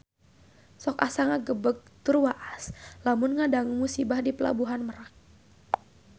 Sok asa ngagebeg tur waas lamun ngadangu musibah di Pelabuhan Merak